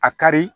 A ka di